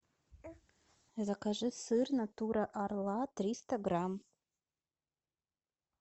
закажи сыр натура орла триста грамм